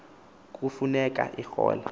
kufu neka erole